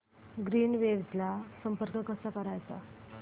Greenwaves ला संपर्क कसा करायचा